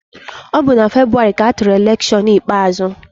Ọ bụ na Febụwarị ka atụrụ elekshọn ikpeazụ.